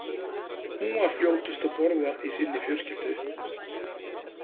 Hún var fljótust að borða í sinni fjölskyldu.